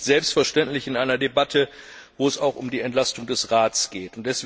Das ist nicht selbstverständlich in einer Debatte, in der es auch um die Entlastung des Rates geht.